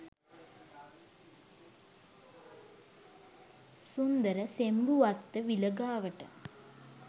සුන්දර සෙම්බුවත්ත විල ගාවට.